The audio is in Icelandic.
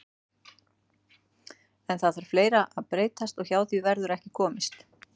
En það þarf fleira að breytast og hjá því verður ekki komist.